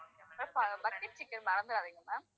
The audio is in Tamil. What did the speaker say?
ma'am bucket chicken மறந்துறாதீங்க ma'am